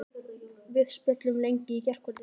Við spjölluðum lengi í gærkvöldi.